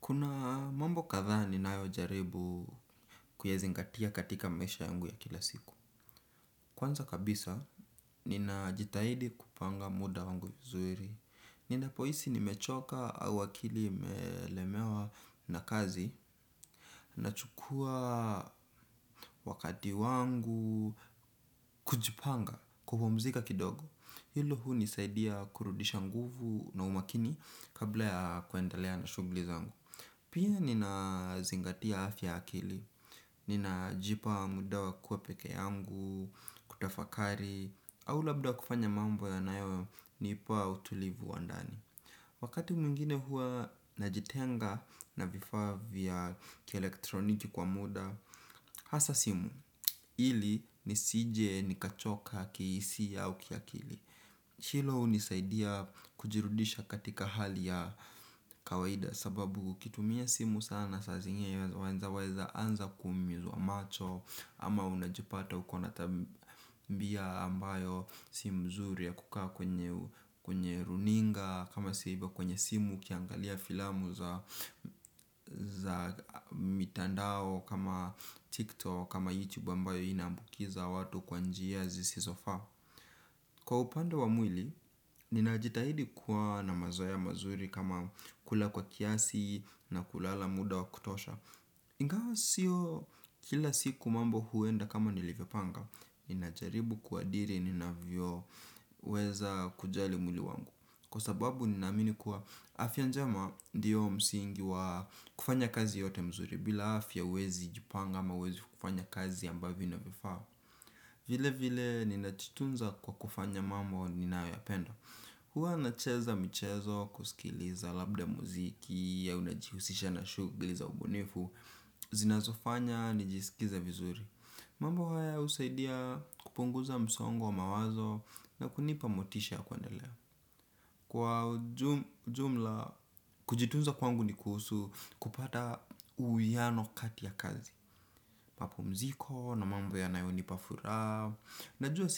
Kuna mambo kadhaa ninayo jaribu kuyazingatia katika maisha yangu ya kila siku. Kwanza kabisa, ninajitahidi kupanga muda wangu vizuiri. Ninapohisi nimechoka au akili imelemewa na kazi, na chukua wakati wangu kujipanga, kupumzika kidogo. Hilo hunisaidia kurudisha nguvu na umakini kabla ya kuendelea na shughli zangu. Pia nina zingatia afya ya akili, nina jipa muda wa kuwa peke yangu, kutafakari, au labda kufanya mambo yanayo nipa utulivu wa ndani. Wakati mwingine huwa najitenga na vifaa vya kielektroniki kwa muda, a hasa simu, ili nisije nikachoka kihisia au kiakili. Hilo hunisaidia kujirudisha katika hali ya kawaida. Sababu ukitumia simu sana saa zingine waweza anza kuumizwa macho. Ama unajipata ukona tabia ambayo si mzuri ya kukaa kwenye runinga. Kama si hivoal kwenye simu ukiangalia filamu za mitandao kama tiktok kama youtube ambayo ina ambukiza watu kwa njia zisizo faa. Kwa upande wa mwili, ninajitahidi kuwa na mazoea mazuri kama kula kwa kiasi na kulala muda wa kutosha. Ngawa sio kila siku mambo huenda kama nilivyopanga, ninajaribu kuadiri ninavyo weza kujali mwili wangu. Kwa sababu nina amini kuwa afya njema ndiyo msingi wa kufanya kazi yote mzuri, bila afya huwezi jipanga ama huwezi kufanya kazi ambavyo inavyo faa. Vile vile ninajitunza kwa kufanya mambo ninayo yapenda. Hua nacheza mchezo wa kusikiliza labda mziki au najihusisha na shughuli za ubunifu zinazofanya nijisikize vizuri. Mambo haya usaidia kupunguza msongo wa mawazo na kunipa motisha ya kuandelea. Kwa jumla kujitunza kwangu ni kuhusu kupata uwiano kati ya kazi mapumziko na mambo yanayo nipa furaha. Najua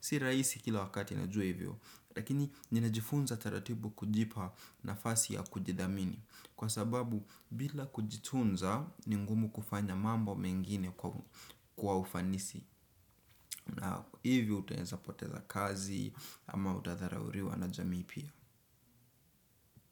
si rahisi kila wakati najua hivyo. Lakini ninajifunza taratibu kujipa nafasi ya kujidhamini. Kwa sababu bila kujitunza ni ngumu kufanya mambo mengine kwa ufanisi. Hivyo utaweza poteza kazi ama utadharauliwa na jamii pia.